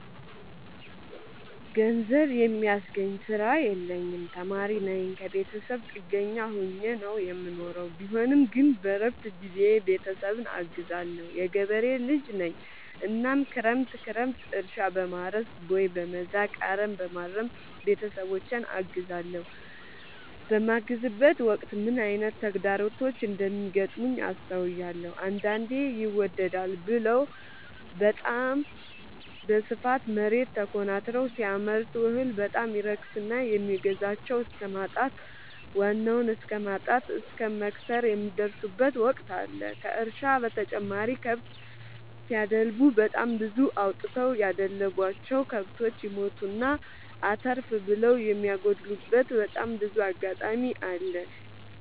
ገንዘብ የሚያስገኝ ስራ የለኝም ተማሪነኝ ከብተሰብ ጥገኛ ሆኜ ነው የምኖረው ቢሆንም ግን በረፍት ጊዜዬ ቤተሰብን አግዛለሁ። የገበሬ ልጅነኝ እናም ክረምት ክረምት እርሻ፣ በማረስ፣ ቦይ፣ በመዛቅ፣ አረምበማረም ቤተሰቦቼን አግዛለሁ። በማግዝበትም ወቅት ምን አይነት ተግዳሮቶች እንደሚገጥሙት አስተውያለሁ። አንዳንዴ ይመደዳል ብለው በታም በስፋት መሬት ተኮናትረው ሲያመርቱ እህል በጣም ይረክስና የሚገዛቸው እስከማጣት ዋናውን እስከማት እስከ መክሰር የሚደርሱበት ወቅት አለ ከእርሻ በተጨማሪ ከብት ሲደልቡ በጣም ብዙ አውጥተው ያደለቡቸው። ከብቶች ይሞቱና አተርፍ ብለው የሚያጎሉበቴ በጣም ብዙ አጋጣሚ አለ።